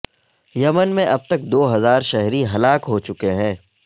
یمن میں اب تک دو ہزار شہری ہلاک ہو چکے ہیں